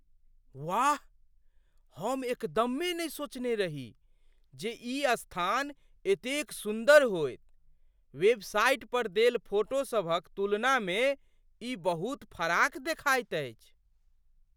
वाह! हम एकदमे नहि सोचने रही जे ई स्थान एतेक सुन्दर होएत। वेबसाइट पर देल फोटो सभक तुलनामे ई बहुत फराक देखाइत अछि।